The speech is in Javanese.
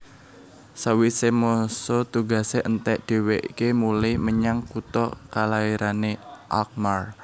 Sawisé masa tugasé entèk dhèwèké mulih menyang kutha kalairané Alkmaar